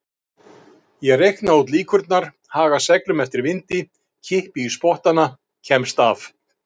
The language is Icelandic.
Ég reikna út líkurnar, haga seglum eftir vindi, kippi í spottana, kemst af.